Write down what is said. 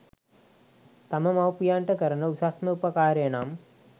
තම මව්පියන්ට කරන උසස්ම උපකාරය නම්